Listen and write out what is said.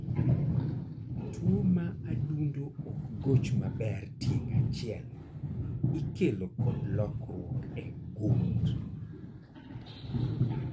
Tuo ma adundo ok goch maber tieng' achiel ikelo kod lokruok e gund